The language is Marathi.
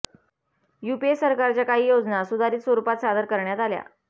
यूपीए सरकारच्या काही योजना सुधारित स्वरुपात सादर करण्यात आल्या